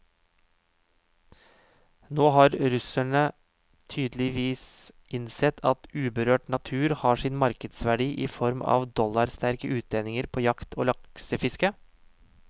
Nå har russerne tydeligvis innsett at uberørt natur har sin markedsverdi i form av dollarsterke utlendinger på jakt og laksefiske.